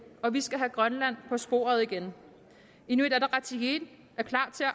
og vi skal have grønland på sporet igen inuit ataqatigiit er klar til at